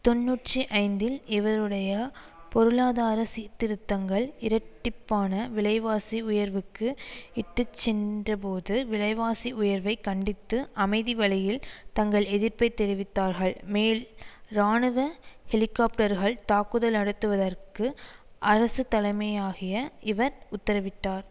தொன்னூற்றி ஐந்தில் இவருடைய பொருளாதார சீர்திருத்தங்கள் இரட்டிப்பான விலைவாசி உயர்வுக்கு இட்டு சென்றபொது விலைவாசி உயர்வை கண்டித்து அமைதி வழியில் தங்கள் எதிர்ப்பை தெரிவித்தவர்கள் மேல் இராணுவ ஹெலிக்காப்டர்கள் தாக்குதல் நடத்துவதற்கு அரசு தலைமையாகிய இவர் உத்தரவிட்டார்